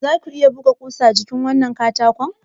Za ku iya buga wannan ƙusa jikin katako?